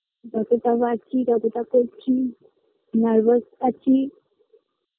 যতটা পারছি ততটা করছি nervous আছি